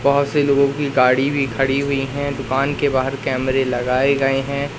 बहोत से लोगों की गाड़ी भी खड़ी हुई है दुकान के बाहर कैमरे लगाए गए हैं।